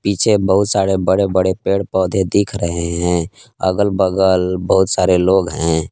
पीछे बहुत सारे बड़े बड़े पेड़ पौधे दिख रहे हैं अगल बगल बहुत सारे लोग हैं।